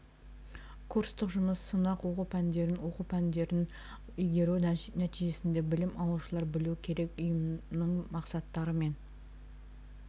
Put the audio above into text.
курстык жұмыс сынақ оқу пәндерін оқу пәндерін игеру нәтижесінде білім алушылар білу керек ұйымның мақсаттары мен